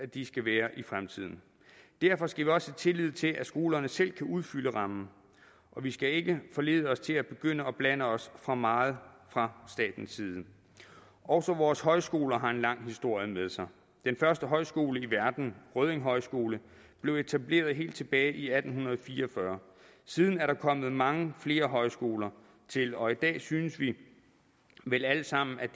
de skal være i fremtiden derfor skal vi også have tillid til at skolerne selv kan udfylde rammen og vi skal ikke forlede os til at begynde at blande os for meget fra statens side også vores højskoler har en lang historie med sig den første højskole i verden rødding højskole blev etableret helt tilbage i atten fire og fyrre siden er der kommer mange flere højskoler til og i dag synes vi vel alle sammen at